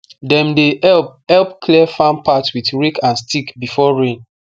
dem dey help help clear farm path with rake and stick before rain